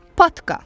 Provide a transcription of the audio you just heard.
Patka.